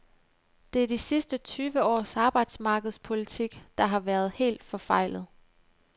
Det er de sidste tyve års arbejdsmarkedspolitik, der har været helt forfejlet.